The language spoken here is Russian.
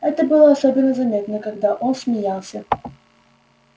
это было особенно заметно когда он смеялся